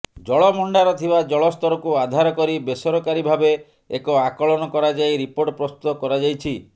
ଜଳଭଣ୍ଡାର ଥିବା ଜଳସ୍ତରକୁ ଆଧାର କରି ବେସରକାରୀ ଭାବେ ଏକ ଆକଳନ କରାଯାଇ ରିପୋର୍ଟ ପ୍ରସ୍ତୁତ କରାଯାଇଛି